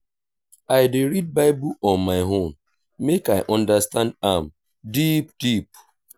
i dey read bible on my own make i understand am deep deep.